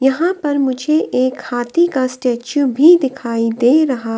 यहां पर मुझे एक हाथी का स्टैचू भी दिखाई दे रहा।